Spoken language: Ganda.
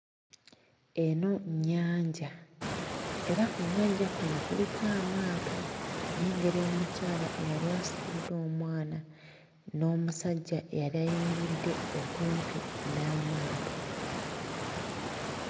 Eno nnyanja, era ku nnyanja kuno kuliko amaato, nnengera omukyala eyali asitudde omwana n'omusajja eyali ayimiridde okumpi n'amaato.